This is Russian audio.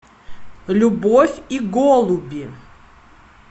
любовь и голуби